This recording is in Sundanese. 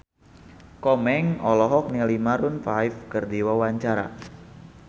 Komeng olohok ningali Maroon 5 keur diwawancara